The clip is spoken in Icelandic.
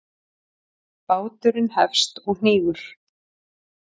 Báturinn hefst og hnígur.